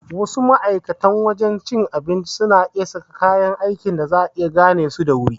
Wasu ma'aikatan wajan cin abincin suna sa kaya aiki da za'a iya gane su da wuri